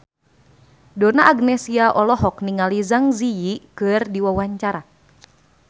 Donna Agnesia olohok ningali Zang Zi Yi keur diwawancara